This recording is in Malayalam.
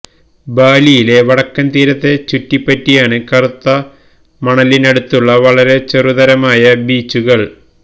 ബാലിയിലെ വടക്കൻ തീരത്തെ ചുറ്റിപ്പറ്റിയാണ് കറുത്ത മണലിനടുത്തുള്ള വളരെ ചെറുതരമായ ബീച്ചുകൾ